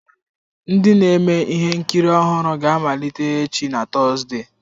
Ndi na-eme ihe nkiri ọhụrụ ga-amaliteghachi na Tọzdee.